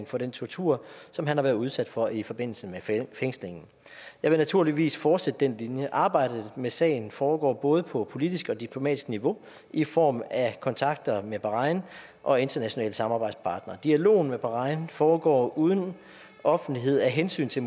for den tortur som han har været udsat for i forbindelse med fængslingen jeg vil naturligvis fortsætte den linje arbejdet med sagen foregår både på politisk og på diplomatisk niveau i form af kontakter med bahrain og internationale samarbejdspartnere dialogen med bahrain foregår uden offentlighed af hensyn til